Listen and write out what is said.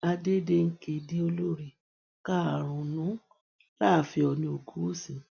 àdédéǹkè di olórí karùnún láàfin oòní ogunwúsì